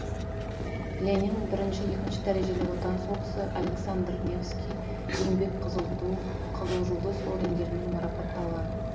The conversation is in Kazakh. ленин бірінші екінші дәрежелі отан соғысы александр невский еңбек қызыл ту қызыл жұлдыз ордендерімен марапатталған